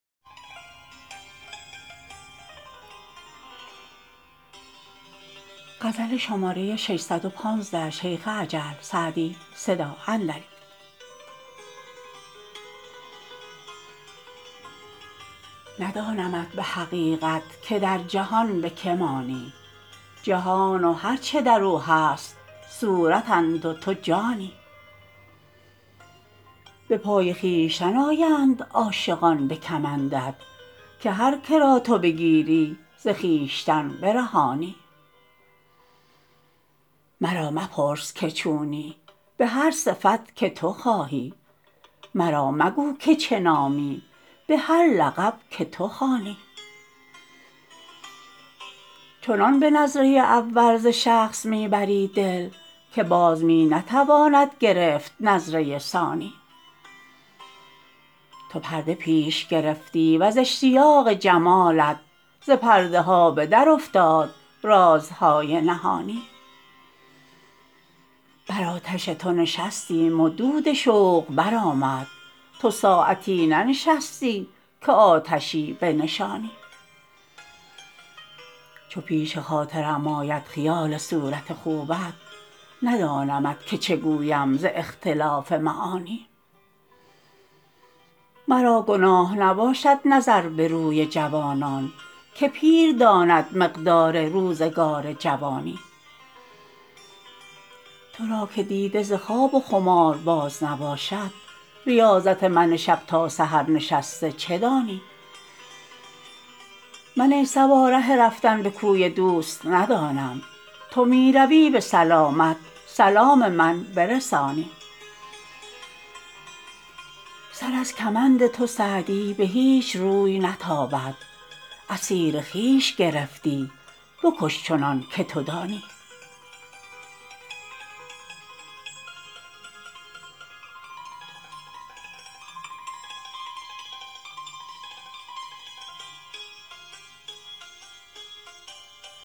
ندانمت به حقیقت که در جهان به که مانی جهان و هر چه در او هست صورتند و تو جانی به پای خویشتن آیند عاشقان به کمندت که هر که را تو بگیری ز خویشتن برهانی مرا مپرس که چونی به هر صفت که تو خواهی مرا مگو که چه نامی به هر لقب که تو خوانی چنان به نظره اول ز شخص می ببری دل که باز می نتواند گرفت نظره ثانی تو پرده پیش گرفتی و ز اشتیاق جمالت ز پرده ها به درافتاد رازهای نهانی بر آتش تو نشستیم و دود شوق برآمد تو ساعتی ننشستی که آتشی بنشانی چو پیش خاطرم آید خیال صورت خوبت ندانمت که چه گویم ز اختلاف معانی مرا گناه نباشد نظر به روی جوانان که پیر داند مقدار روزگار جوانی تو را که دیده ز خواب و خمار باز نباشد ریاضت من شب تا سحر نشسته چه دانی من ای صبا ره رفتن به کوی دوست ندانم تو می روی به سلامت سلام من برسانی سر از کمند تو سعدی به هیچ روی نتابد اسیر خویش گرفتی بکش چنان که تو دانی